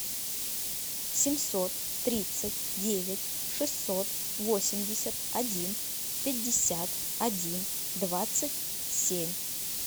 семьсот тридцать девять шестьсот восемьдесят один пятьдесят один двадцать семь